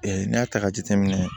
n'i y'a ta k'a jateminɛ